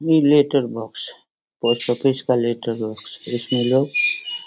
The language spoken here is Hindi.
ई लेटर बॉक्स पोस्ट ऑफिस का लेटर बॉक्स इसमें लोग --